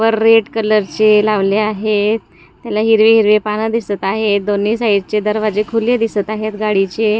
व रेड कलरचे लावले आहेत त्याला हिरवी हिरवी पानं दिसत आहेत दोन्ही साईडचे दरवाजे खुले दिसत आहेत गाडीचे.